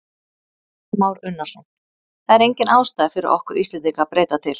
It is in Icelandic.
Kristján Már Unnarsson: Það er engin ástæða fyrir okkur Íslendinga að breyta til?